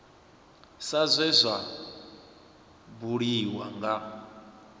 sa zwe zwa buliwa nga